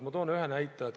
Ma toon ühe näite.